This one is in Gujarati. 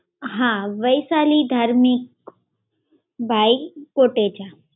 હા, વૈશાલી ધાર્મિક ભાઈ કોટેચા.